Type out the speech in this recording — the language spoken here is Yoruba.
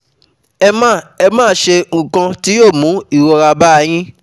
Ẹ má Ẹ má ṣe nǹkan tí yóò mú ìrora ba yín